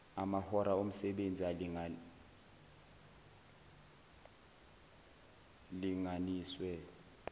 amahora omsebenzi alingalinganiswe